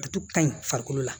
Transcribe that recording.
Ka ɲi farikolo la